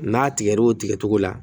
N'a tigɛr'o tigɛcogo la